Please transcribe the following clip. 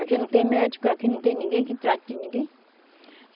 Aqui não tem médico, aqui não tem ninguém que trate de ninguém.